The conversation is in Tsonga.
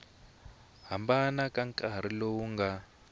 hambana ka nkarhi lowu nga